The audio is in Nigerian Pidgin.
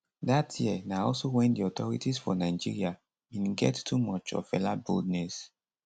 dat year na also wen di authorities for nigeria bin get too much of fela boldness